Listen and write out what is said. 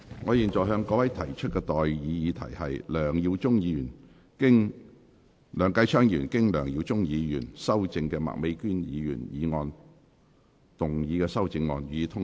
我現在向各位提出的待議議題是：梁繼昌議員就經梁耀忠議員修正的麥美娟議員議案動議的修正案，予以通過。